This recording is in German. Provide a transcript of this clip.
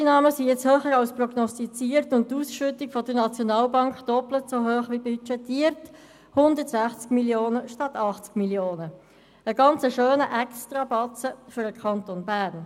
Die Steuereinnahmen sind jetzt höher als prognostiziert und die Ausschüttung der SNB doppelt so hoch wie budgetiert: 160 Mio. Franken statt 80 Mio. Franken – ein ganz schöner Extrabatzen für den Kanton Bern.